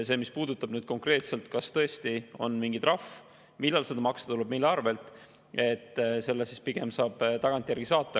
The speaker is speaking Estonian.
Mis puudutab konkreetselt seda, kas tõesti on mingi trahv ja siis millal seda maksta tuleb, mille arvelt – selle vastuse pigem saab tagantjärgi saata.